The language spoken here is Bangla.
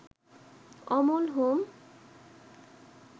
অমল হোম